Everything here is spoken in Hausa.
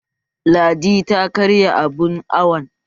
Ladi ta karya abun awon